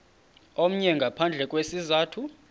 omnye ngaphandle kwesizathu